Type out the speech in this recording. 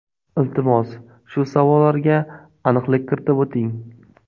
Iltimos, shu savollarga aniqlik kiritib o‘ting.